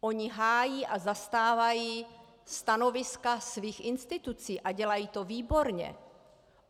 Oni hájí a zastávají stanoviska svých institucí a dělají to výborně.